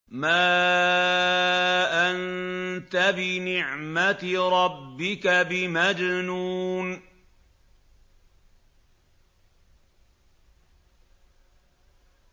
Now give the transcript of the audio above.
مَا أَنتَ بِنِعْمَةِ رَبِّكَ بِمَجْنُونٍ